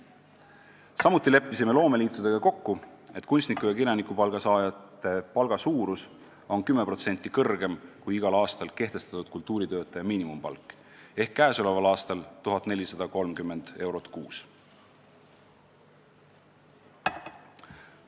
Samuti leppisime loomeliitudega kokku, et kunstniku- ja kirjanikupalga saajate palk on 10% suurem kui igal aastal kehtestatud kultuuritöötaja miinimumpalk ehk siis tänavu 1430 eurot kuus.